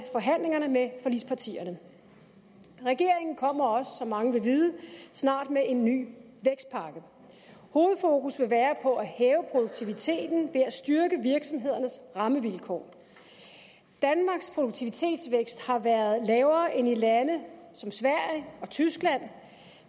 forhandlingerne med forligspartierne regeringen kommer også som mange vil vide snart med en ny vækstpakke hovedfokus vil være på at hæve produktiviteten ved at styrke virksomhedernes rammevilkår danmarks produktivitetsvækst har været lavere end i lande som sverige og tyskland